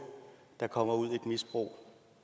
der kommer ud i et misbrug